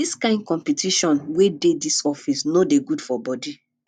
di kain competition wey dey dis office no dey good for bodi